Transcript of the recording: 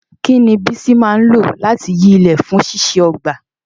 Kí ni Bisi máa ń lò láti yí ilẹ̀ fún ṣíṣe ọgbà?